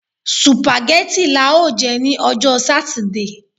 Sùpàgẹ́tì lá ó jẹ ní ọjọ́ sátidé